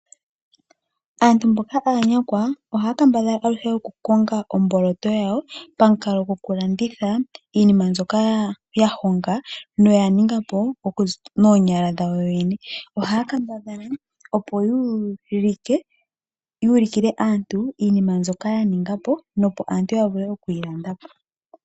Aantu mboka aanyakwa ohaa kambadhala aluhe okukong omboloto yawo, pamukalo gokulanditha iinima mbyoka hayonga noya ninga po noonyala dhawo yoyene ohaa kambadhala opo yuulikile aantu iinima mbyoka yaninga po, nopo aantu yavule okwii landa po.